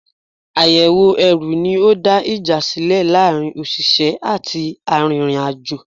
Àyẹ̀wò ẹrù ní ó dá ìjà sílẹ̀ láàárín òṣìṣẹ́ àti arìnrìn-àjò.